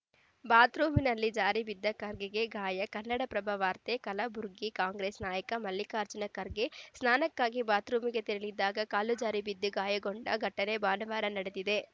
ಬಾತ್‌ ರೂಂನಲ್ಲಿ ಜಾರಿ ಬಿದ್ದು ಖರ್ಗೆಗೆ ಗಾಯ ಕನ್ನಡಪ್ರಭ ವಾರ್ತೆ ಕಲಬುರಗಿ ಕಾಂಗ್ರೆಸ್‌ ನಾಯಕ ಮಲ್ಲಿಕಾರ್ಜುನ ಖರ್ಗೆ ಸ್ನಾನಕ್ಕಾಗಿ ಬಾತ್‌ ರೂಮಿಗೆ ತೆರಳಿದ್ದಾಗ ಕಾಲು ಜಾರಿ ಬಿದ್ದು ಗಾಯಗೊಂಡ ಘಟನೆ ಭಾನುವಾರ ನಡೆದಿದೆ